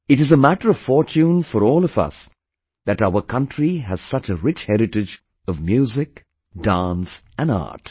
It is a matter of fortune for all of us that our country has such a rich heritage of Music, Dance and Art